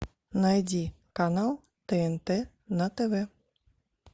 найди канал тнт на тв